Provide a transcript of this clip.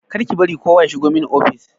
Kar ki bari kowa ya shigo mani ofis!